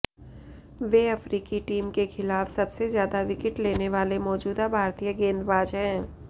वे अफ्रीकी टीम के खिलाफ सबसे ज्यादा विकेट लेने वाले मौजूदा भारतीय गेंदबाज हैं